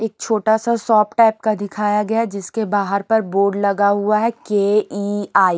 एक छोटा सा शॉप टाइप का दिखाया गया जिसके बाहर पर बोर्ड लगा हुआ है के ई आई ।